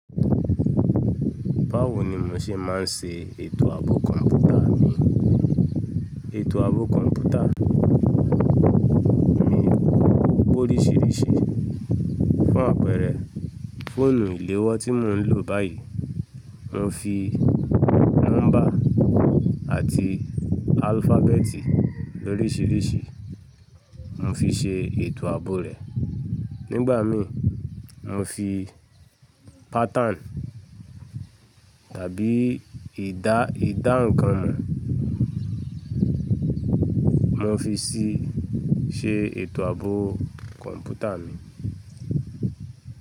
Báwo ni mo ṣe máa ń ṣe ètò ààbò kọ̀m̀pútà mi? Ètò ààbò kọ̀m̀pútà mi ọ́pe oríṣiríṣi. Fún àpẹẹrẹ, fóònù ìléwọ́ tí mò ń lò báyìí, mo fi nọ́mbà àti alfabetì lóríṣiríṣi, mo fi ṣe ètò ààbò rẹ̀. Nígbà miì, mo fi pattern tàbí ìdáǹkán mo, mo fi sí ṣe ètò ààbò kọ̀m̀pútà mi.